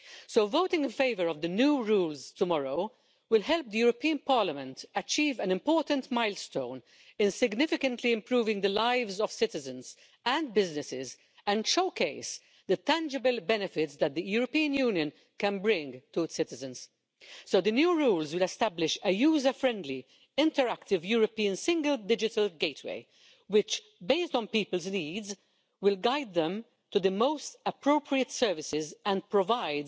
So voting in favour of the new rules tomorrow will help Parliament to reach an important milestone in significantly improving the lives of citizens and businesses, and will showcase the tangible benefits that the European Union can bring to its citizens. The new rules will establish a user friendly, interactive European Single Digital Gateway which, based on people's needs, will guide them to the most appropriate services and will provide